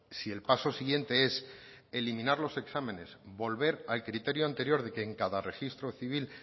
si el paso siguiente es eliminar los exámenes volver al criterio anterior de que en cada registro civil